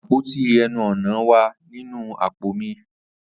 Apoti ẹnu-ọna wa ninu apo mi.